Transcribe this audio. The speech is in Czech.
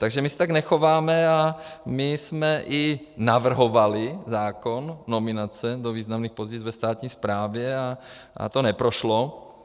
Takže my se tak nechováme a my jsme i navrhovali zákon, nominace do významných pozic ve státní správě, a to neprošlo.